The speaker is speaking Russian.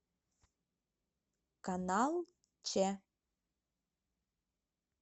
канал че